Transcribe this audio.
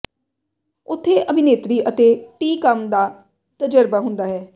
ਉੱਥੇ ਅਭਿਨੇਤਰੀ ਅਤੇ ਟੀ ਕੰਮ ਦਾ ਤਜਰਬਾ ਹੁੰਦਾ ਹੈ